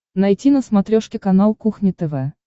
найти на смотрешке канал кухня тв